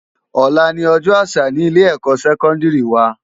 Òlá ni òjò ásà ni ilé èkò sèkòndiri wá